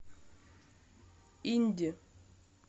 инди